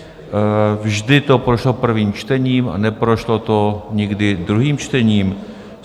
Vždy to prošlo prvým čtením a neprošlo to nikdy druhým čtením.